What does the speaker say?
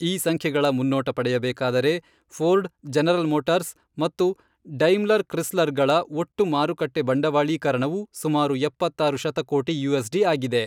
ಈ ಸಂಖ್ಯೆಗಳ ಮುನ್ನೋಟ ಪಡೆಯಬೇಕಾದರೆ, ಫೋರ್ಡ್, ಜನರಲ್ ಮೋಟಾರ್ಸ್ ಮತ್ತು ಡೈಮ್ಲರ್ ಕ್ರಿಸ್ಲರ್ಗಳ ಒಟ್ಟು ಮಾರುಕಟ್ಟೆ ಬಂಡವಾಳೀಕರಣವು ಸುಮಾರು ಎಪ್ಪತ್ತಾರು ಶತಕೋಟಿ ಯುಎಸ್ಡಿ ಆಗಿದೆ.